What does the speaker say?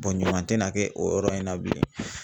ɲuman tɛna kɛ o yɔrɔ in na bilen